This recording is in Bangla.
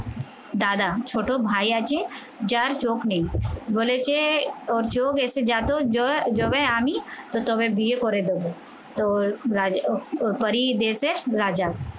দাদা, ছোট ভাই আছে, যার চোখ নেই বলেছে, ওর চোখ এসে যা তো, যবে আমি তো তবে বিয়ে করে দেবো তোর পরী দেশে রাজা